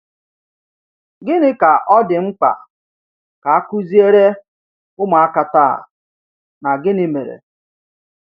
Gịnị ka ọ dị mkpa ka a kụziere ụmụaka taa, na gịnị mere?